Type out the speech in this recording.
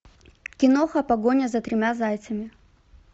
киноха погоня за тремя зайцами